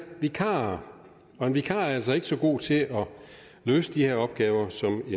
vikarer og en vikar er altså ikke så god til at løse de her opgaver som